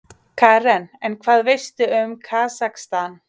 Karen: En hvað veistu um Kasakstan?